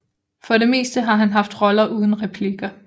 For det meste har han haft roller uden replikker